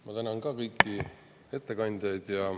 Ma tänan ka kõiki ettekandjaid.